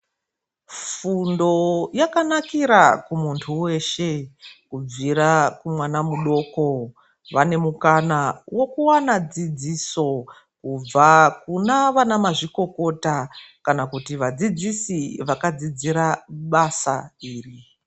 Fundo yakanakira kumuntu weshe kubvira kumwana mudoko, vane mukana vekuwana dzidziso kubva kunawana mazvikokota kana kuti vadzidzisi vakadzidzira basa iri.